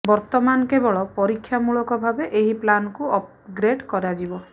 ବର୍ତ୍ତମାନ କେବଳ ପରୀକ୍ଷାମୂଳକ ଭାବେ ଏହି ପ୍ଲାନକୁ ଅପଗ୍ରେଡ କରାଯିବ